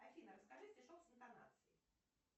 афина расскажи стишок с интонацией